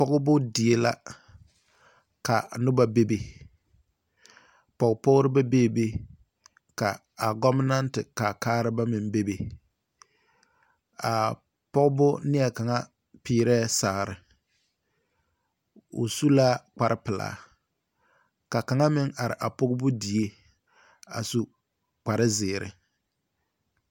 Pͻgebo die la, ka noba bebe. Pͻgepͻgebo bebe ka a gͻbenԑnte kaakareba meŋ bebe. A pͻgebo neԐ kaŋa peerԑԑ sagere, o su la kpare pelaa ka kaŋa meŋ are a pͻgebo die a su kpare zeere.